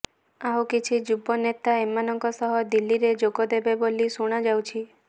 ଆଉ କିଛି ଯୁବ ନେତା ଏମାନଙ୍କ ସହ ଦିଲ୍ଲୀରେ ଯୋଗଦେବେ ବୋଲି ଶୁଣାଯାଉଛି